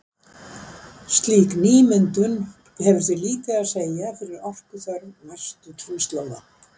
Slík nýmyndun hefur því lítið að segja fyrir orkuþörf næstu kynslóða.